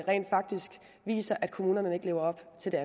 rent faktisk viser at kommunerne ikke lever op til